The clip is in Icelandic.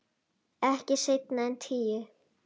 Ekki seinna en tíu.